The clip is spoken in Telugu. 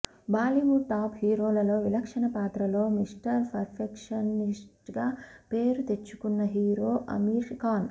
బాలీవుడ్ టాప్ హీరోలలో విలక్షణ పాత్రలో మిస్టర్ పర్ఫెక్షనిస్ట్గా పేరు తెచ్చుకున్న హీరో ఆమిర్ ఖాన్